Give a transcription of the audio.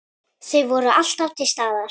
Þau voru alltaf til staðar.